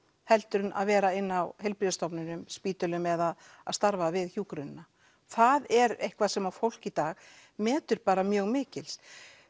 heldur en að vera inni á heilbrigðisstofnunum spítölum eða að starfa við hjúkrunina það er eitthvað sem að fólk í dag metur bara mjög mikils